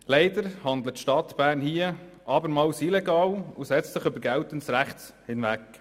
Leider handelt die Stadt Bern hier abermals illegal und setzt sich über geltendes Recht hinweg.